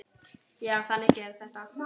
Já, þannig gerist þetta.